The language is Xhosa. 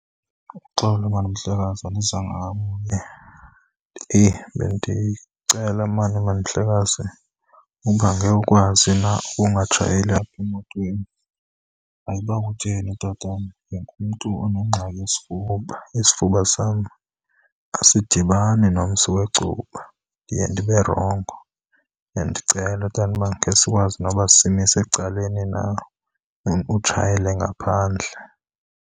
Uxolo mani mhlekazi, andizanga kakubi. Eyi bendicela mani, mani mhlekazi uba ngekhe ukwazi na ukungatshayeli apha emotweni. Hayi uba kutheni tatam ndingumntu onengxaki yesifuba. Isifuba sam asidibani nomsi wecuba, ndiye ndibe rongo. Bendicela tata uba ngesikwazi noba simise ecaleni na utshayele ngaphandle.